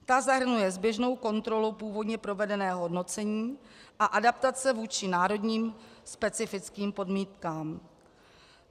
Ta zahrnuje zběžnou kontrolu původně provedeného hodnocení a adaptace vůči národním specifickým podmínkám.